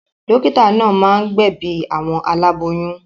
Dọ́kítá náà máa ń gbẹ̀bi àwọn aláboyún.